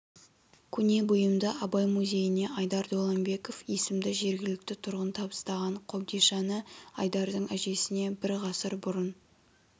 көне бұйымды абай музейіне айдар доланбеков есімді жергілікті тұрғын табыстаған қобдишаны айдардың әжесіне бір ғасыр бұрын